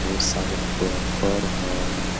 ढ़ेर सारे पेपर हैं।